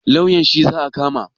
Lauyan shi za a kama?